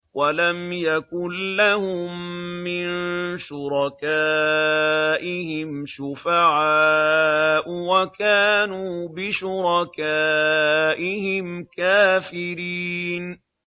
وَلَمْ يَكُن لَّهُم مِّن شُرَكَائِهِمْ شُفَعَاءُ وَكَانُوا بِشُرَكَائِهِمْ كَافِرِينَ